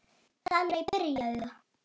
Verð bara að þjóta!